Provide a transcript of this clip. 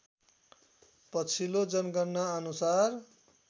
पछिल्लो जनगणना अनुसार